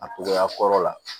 A togoya kɔrɔ la